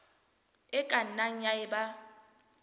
e ka nnang ya eba